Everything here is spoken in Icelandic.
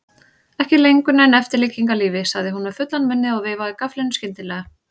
Ekki lengur nein eftirlíking af lífi, sagði hún með fullan munninn og veifaði gafflinum skyndilega.